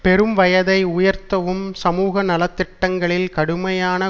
பெறும் வயதை உயர்த்தவும் சமூக நல திட்டங்ககளில் கடுமையான